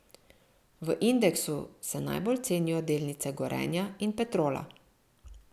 V indeksu se najbolj cenijo delnice Gorenja in Petrola.